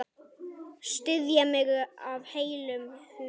Styðja mig af heilum hug?